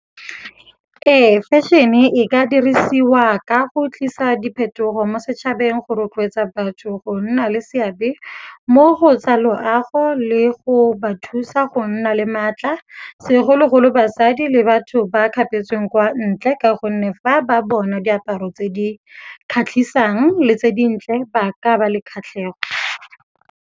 Ee, fashion-e e ka dirisiwa ka go tlisa diphetogo mo setšhabeng go rotloetsa batho go nna le seabe mo go tsa loago le go ba thusa go nna le maatla. Segologolo basadi le batho ba kgapetsweng kwa ntle ka gonne fa ba bona diaparo tse di kgatlhisang le tse dintle ba ka ba le kgatlhego.